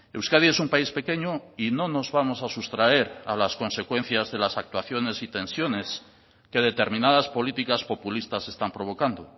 euskadi es un país pequeño y no nos vamos a sustraer a las consecuencias de las actuaciones y tensiones que determinadas políticas populistas están provocando